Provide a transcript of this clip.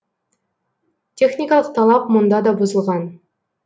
техникалық талап мұнда да бұзылған